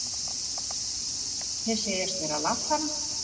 Þeir segjast vera að lagfæra.